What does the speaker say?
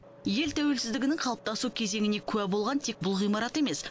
ел тәуелсіздігінің қалыптасу кезеңіне куә болған тек бұл ғимарат емес